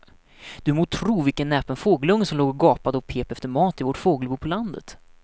Du må tro vilken näpen fågelunge som låg och gapade och pep efter mat i vårt fågelbo på landet.